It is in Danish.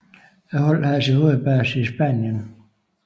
Holdet har sin hovedbase i Spanien